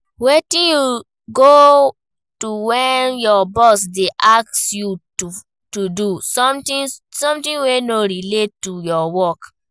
Wetin you go do when your boss dey ask you to do someting wey no relate to your work?